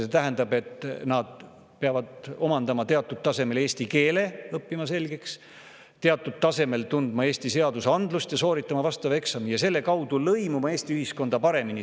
See tähendab, et nad peavad õppima eesti keelt ja selle teatud tasemel omandama, teatud tasemel tundma Eesti seadusandlust ja sooritama vastava eksami ja selle kaudu lõimuma Eesti ühiskonda paremini.